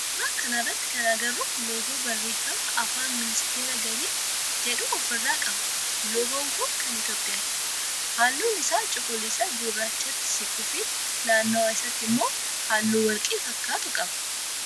suuraa kana irratti kan agarru loogoo barreefma afaan ministeera gaalii jedhu of irraa qaba loogoon kun kan itiyoophiyaati. Halluun isa cuqulisa gurraachatti siqu fi naannawa isaati immoo halluu warqee fakkaatuu qaba.